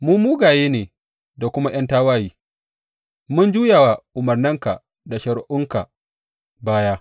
Mu mugaye ne da kuma ’yan tawaye; mun juya wa umarninka da shari’unka baya.